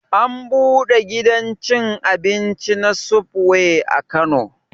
An buɗe gidan cin abinci na subway a kano